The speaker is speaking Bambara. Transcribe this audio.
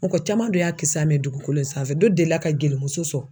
Mɔgɔ caman don y'a kisa mɛn dugukolo in sanfɛ dɔ deli la ka gelimuso sɔn.